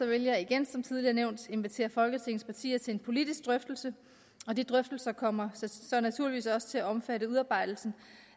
vil jeg igen som tidligere nævnt invitere folketingets partier til en politisk drøftelse og de drøftelser kommer så naturligvis også til at omfatte udarbejdelsen